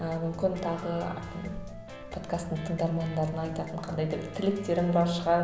ы мүмкін тағы подкасттың тыңдармандарына айтатын қандай да бір тілектерің бар шығар